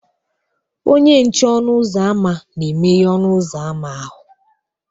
Onye nche ọnụ ụzọ ámá na-emeghe ọnụ ụzọ ámá ahụ